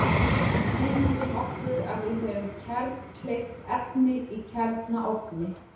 Ímyndum okkur að við höfum kjarnkleyft efni í kjarnaofni.